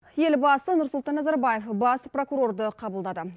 елбасы нұрсұлтан назарбаев бас прокурорды қабылдады